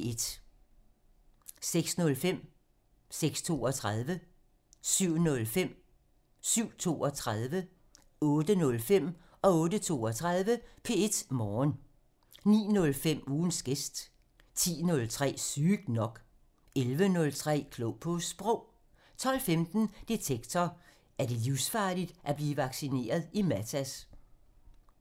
06:05: P1 Morgen (Afs. 250) 06:32: P1 Morgen (Afs. 250) 07:05: P1 Morgen (Afs. 250) 07:32: P1 Morgen (Afs. 250) 08:05: P1 Morgen (Afs. 250) 08:32: P1 Morgen (Afs. 250) 09:05: Ugens gæst (Afs. 40) 10:03: Sygt nok (Afs. 40) 11:03: Klog på Sprog (Afs. 41) 12:15: Detektor: Er det livsfarligt at blive vaccineret i Matas? (Afs. 36)